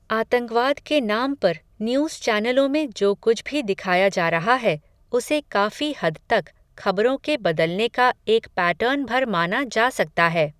आतंकवाद के नाम पर, न्यूज़ चैनलों में, जो कुछ भी दिखाया जा रहा है, उसे काफ़ी हद तक, खबरों के बदलने का एक पैटर्न भर माना जा सकता है